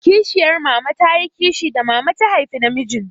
Kishiyar mama ta yi kishi da mama ta haifa namijin.